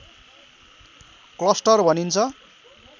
cluster भनिन्छ